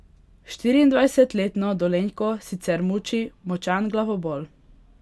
Štiriindvajsetletno Dolenjko sicer muči močan glavobol.